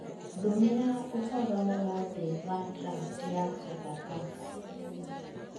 ndũmĩra ũhoro wothe wa draft ya Sopapaka